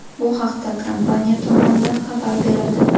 Bu haqda kompaniya tomonidan xabar berildi .